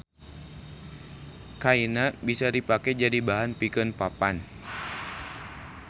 Kaina bisa dipake jadi bahan pikeun papan.